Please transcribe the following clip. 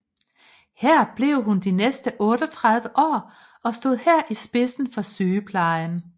Her blev hun de næste 38 år og stod her i spidsen for sygeplejen